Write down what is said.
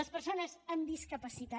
les persones amb discapacitat